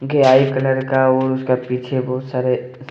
Colour का उसका पीछे बहुत सारे।